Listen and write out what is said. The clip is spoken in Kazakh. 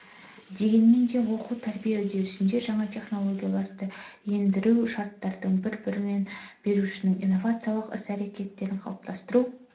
дегенмен де оқу-тәрбие үрдісінде жаңа технологияларды ендіру шарттарының бірі-білім берушінің инновациялық іс-әрекетін қалыптастыру